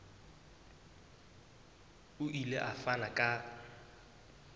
o ile a fana ka